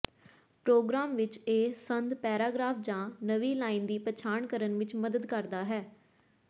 programme ਵਿੱਚ ਇਹ ਸੰਦ ਪੈਰਾਗ੍ਰਾਫ ਜਾਂ ਨਵੀਂ ਲਾਈਨ ਦੀ ਪਛਾਣ ਕਰਨ ਵਿੱਚ ਮਦਦ ਕਰਦਾ ਹੈ